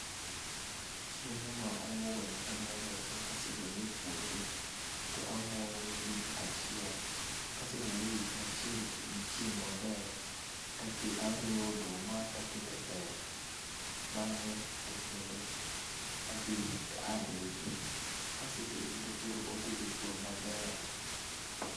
Chiemo ma omuogo ni ka adwa lose kasegole e puodho to amoye week achiel, kasemoye e week achiel gi chieng maber, tariwo oduma takete bel. Bang'e to kendo adhi tarege, kaserege to koro otedo kuon maber